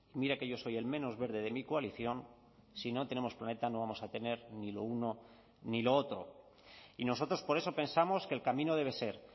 mire que yo soy el menos verde de mi coalición si no tenemos planeta no vamos a tener ni lo uno ni lo otro y nosotros por eso pensamos que el camino debe ser